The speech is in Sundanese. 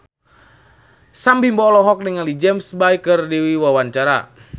Sam Bimbo olohok ningali James Bay keur diwawancara